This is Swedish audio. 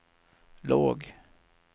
låg